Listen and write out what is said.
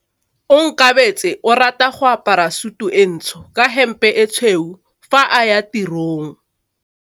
Onkabetse o rata go apara sutu e ntsho ka hempe e tshweu fa a ya tirong.